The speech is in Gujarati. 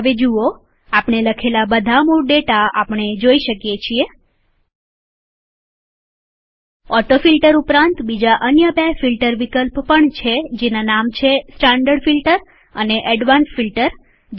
હવે જુઓ આપણે લખેલા બધા મૂળ ડેટા આપણે જોઈ શકીએ છીએ ઓટોફિલ્ટર ઉપરાંતબીજા અન્ય બે ફિલ્ટર વિકલ્પ પણ છે જેના નામ છે160 સ્ટાનડર્ડ ફિલ્ટર અને એડવાન્સ ફિલ્ટર